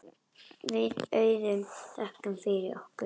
Við Auður þökkum fyrir okkur.